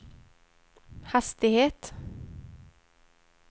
hastighet